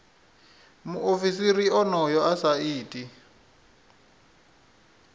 muofisiri onoyo a sa iti